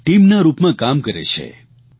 એક ટીમના રૂપમાં કામ કરે છે